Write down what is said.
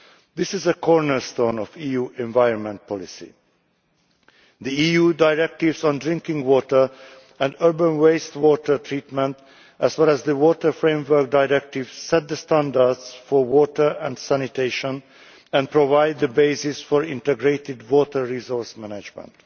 This is a cornerstone of EU environment policy. The EU directives on drinking water and urban wastewater treatment, as well as the Water Framework Directive, set the standards for water and sanitation and provide the basis for integrated water resource management.